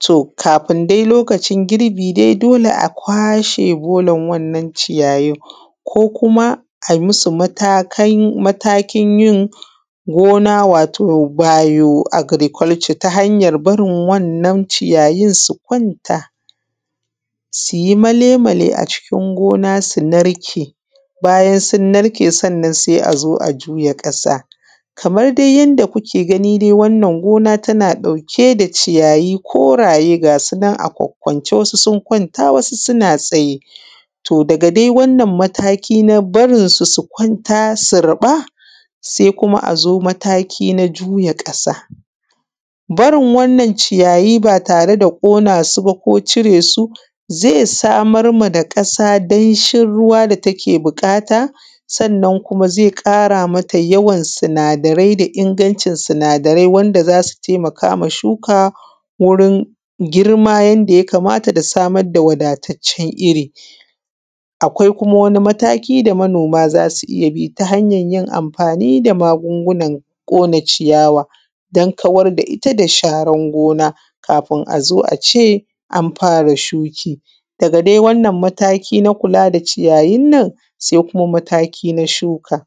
to kafin dai lokacin girbi dai dole a kwashe bolan wannan ciyayin ko kuma ai musu matakin yin gona wato bayoagirikulco ta hanyan barin wa’yan’nan ciyayi su kwanta suyi male male a cikin gona su narke bayan sun narke sai azo a juya ƙasa. Kaman dai yanda kuke wannan gona tana ɗauke da ciyayi koraye ga sunan a kwakkwance wasu sun kwanta wasu suna tsaye daga dai wannan mataki na barinsu su kwanta su riɓa. sai kuma azo mataki na juya ƙasa barin wannan ciyayi ba tare da cire su ko ƙona su zai samar ma ƙasa da damshi ruwa da take buƙata sannan kuma zai ƙara mata yawan sinada rai da ingancin suinada rai wanda zasu taimakama shuka wurin girma yanda ya kamata da kuma samun wadataccen irri. Akwai kuma mataki da manoma zasu iyya bi ta hanyan yin amfani da magungunan kona ciyawa dan kawar da iyya da sharan gona kafin azo ace an fara shuki daga dai wannan mataki na kula da ciyayin nan sai kuma mataki na shuka.